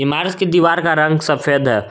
मारस की दीवार का रंग सफेद है।